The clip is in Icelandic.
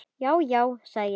Já, já, sagði ég.